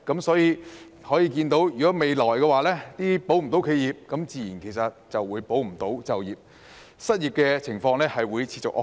所以，未來如果未能"保企業"，自然亦無法"保就業"，失業情況會持續惡化。